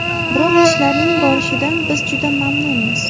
Biroq ishlarning borishidan biz juda mamnunmiz.